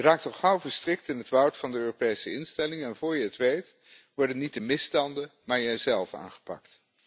Je raakt al gauw verstrikt in het woud van de Europese instellingen en voor je het weet, worden niet de misstanden, maar jij zelf aangepakt.